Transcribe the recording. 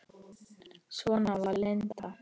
Svona var Linda.